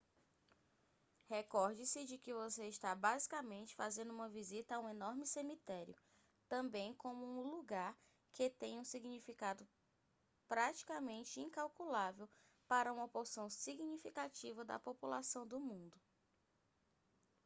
recorde-se de que você está basicamente fazendo uma visita a um enorme cemitério também como um lugar que tem um significado praticamente incalculável para uma porção significativa da população do mundo